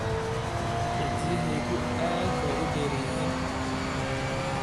Cidiyahaagu aad bay u dheer yihiin.